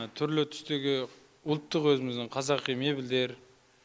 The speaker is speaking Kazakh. түрлі түстегі ұлттық өзіміздің қазақи мебельдер